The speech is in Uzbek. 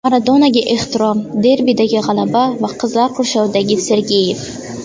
Maradonaga ehtirom, derbidagi g‘alaba va qizlar qurshovidagi Sergeyev.